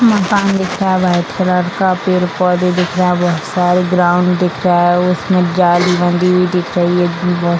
मकान दिख रहा है व्हाइट कलर का पेड़-पौधे दिख रहा है बहुत सारे ग्राउंड दिख रहा है उसमें जाली बनी हुई दिख रही है।